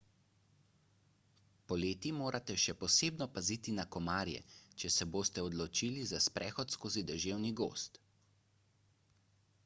poleti morate še posebno paziti na komarje če se boste odločili za sprehod skozi deževni gozd